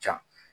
Ca